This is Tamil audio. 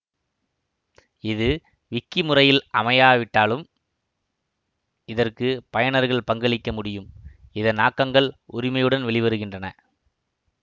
இது விக்கிமுறையில் அமையாவிட்டாலும் இதற்கு பயனர்கள் பங்களிக்க முடியும் இதன் ஆக்கங்கள் உரிமையுடன் வெளிவருகின்றன